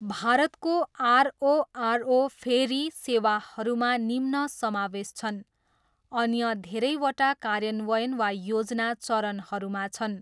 भारतको RORO ferry सेवाहरूमा निम्न समावेश छन्, अन्य धेरैवटा कार्यान्वयन वा योजना चरणहरूमा छन्।